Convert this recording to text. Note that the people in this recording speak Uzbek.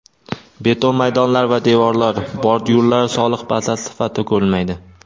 beton maydonlar va devorlar (bordyurlar) soliq bazasi sifatida ko‘rilmaydi.